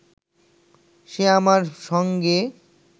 সে আমার সঙ্গে